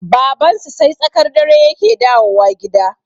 Babansu sai tsakar dare yake dawowa gida